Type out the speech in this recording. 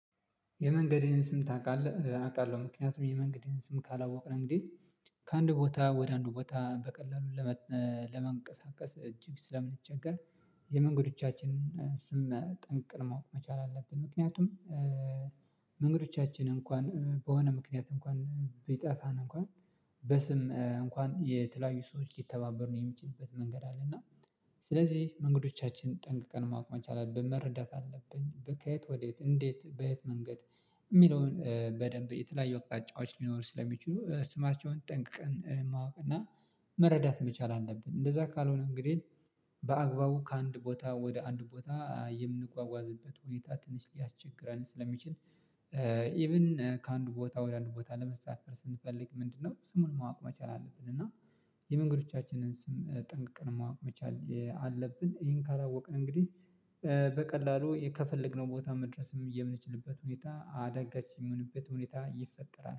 የመንገድህን ስም ታውቃለህ? አውቃለሁ ምክንያቱም የመንገድህን ስም ካላወቅን እንግዲህ ከአንድ ቦታ ወደ አንድ ቦታ በቀላሉ ለመንቀሳቀስ እጅግ ስለምንቸገር። የመንገዶቻችንን ስም ጠንቅቀን ማወቅ መቻል አለብን ምክንያቱም። መንገዶቻችን እንኳን በሆነ ምክንያት እንኳን ቢጠፋን እንኳን በስም እንኳን የተለያዩ ሰዎች የተባበሩ የሚችሉበት መንገድ አለ። እና ስለዚህ መንገዶቻችን ጠንቅቀን ማቆም መቻል አለብን መረዳት አለብን። ከየት ወዴት እንዴት በየት መንገድ የሚለውን በደንብ የተለያዩ አቅጣጫዎች ሊኖሩ ስለሚችሉ ስማቸውን ጠንቅቀን ማወቅ እና መረዳት መቻል አለብን። እንደዛ ካልሆነ እንግዲህ በአግባቡ ከአንድ ቦታ ወደ አንድ ቦታ የምንጓጓዝበት ወይታ ትንሽ ሊያስቸግረን ስለሚችል። ኢቭን ከአንድ ቦታ ወደ አንድ ቦታ ለመሳፈር ስንፈልግ ምንድነው? ስሙን ማወቅ መቻል አለብን እና የመንገዶቻችንን ስም ጠንቅቅን ማወቅ መቻል አለብን። ይሄን ካላወቅን እንግዲህ በቀላሉ ከፈለግነው ቦታ መድረስም የምንችልበት ሁኔታ አደጋች የምንበት ሁኔታ ይፈጠራል